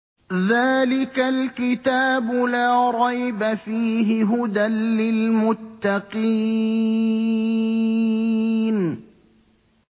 ذَٰلِكَ الْكِتَابُ لَا رَيْبَ ۛ فِيهِ ۛ هُدًى لِّلْمُتَّقِينَ